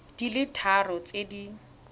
di le tharo tse di